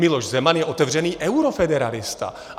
Miloš Zeman je otevřený eurofederalista.